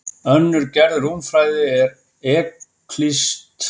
Önnur gerð rúmfræði er evklíðsk rúmfræði.